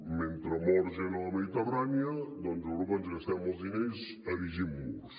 mentre mor gent a la mediterrània a europa ens gastem els diners erigint murs